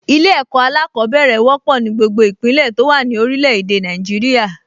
Ilé-ẹ̀kọ́ alákọ̀ọ́bẹ̀rẹ̀ wọ́pọ̀ ní gbogbo ìpínlẹ̀ tó wà ní orilẹ̀ èdè Nàìjíríà